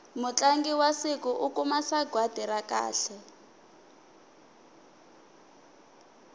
mutlangi wa siku u kuma sagwati ra kahle